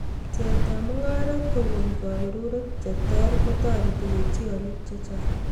Pcheet ab mungaret kokon kebeberuek cheter kotereti koityin olik chechang